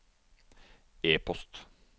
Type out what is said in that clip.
e-post